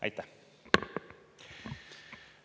Aitäh!